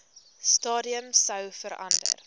stadium sou verander